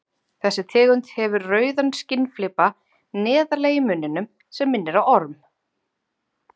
Þessi tegund hefur rauðan skinnflipa neðarlega í munninum sem minnir á orm.